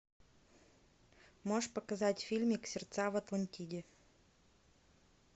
можешь показать фильмик сердца в атлантиде